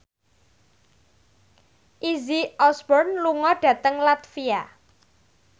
Izzy Osborne lunga dhateng latvia